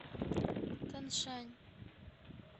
таншань